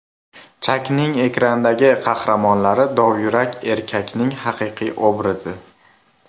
Chakning ekrandagi qahramonlari dovyurak erkakning haqiqiy obrazi.